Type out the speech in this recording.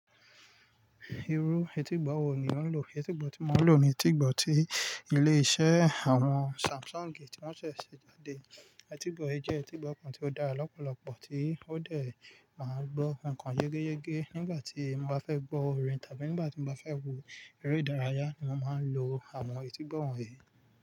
Irú etígbọ́ wo ni ò ń lò? Etígbọ́ tí mo ń lò ni etígbọ́ tí ilé-iṣẹ́ àwọn Samsung tí wọ́n ṣẹ̀ ṣè jáde. Etígbọ́ yìí jẹ́ etígbọ́ kan tí ó dára lọ́pọ̀lọpọ̀, tí ó de máa gbọ́ ǹkan gẹ́gẹ́gẹ́. Nígbà tí mo bá fẹ́ gbọ́ orin tàbí nígbà tí mo bá fẹ́ wo eré-ìdárayá ni mo máa ń lo àwọn etígbọ́ wọ̀nyí.